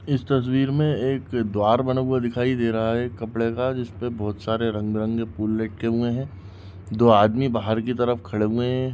इस तस्वीर मे एक द्वार बना हुआ दिखाई दे रहा है कपड़े का जिसमे बहुत सारे रंग बे रंगी फूल लटके हुए है दो आदमी बाहर की तरफ खड़े हुए है।